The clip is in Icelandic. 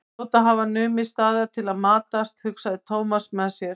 Þeir hljóta að hafa numið staðar til að matast, hugsaði Thomas með sér.